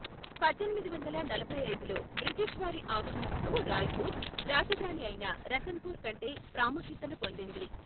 పద్దెనిమిది వందల నలభైఐదులో బ్రిటిష్ వారి ఆగమనంతో రాయ్పూర్, రాజధాని అయిన రతనపుర్ కంటే ప్రాముఖ్యతను పొందింది.